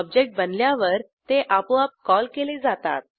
object बनल्यावर ते आपोआप कॉल केले जातात